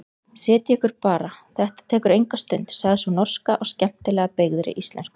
Setjið ykkur bara, þetta tekur engin stund, sagði sú norska á skemmtilega beygðri íslensku.